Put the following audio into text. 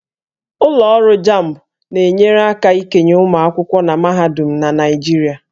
Ụlọ ọrụ JAMB na-enyere aka ikenye ụmụ akwụkwọ na mahadum na Naịjirịa